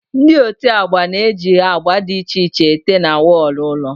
Ndị ote agba na eji agba dị iche iche ete na wọlụ ụlọ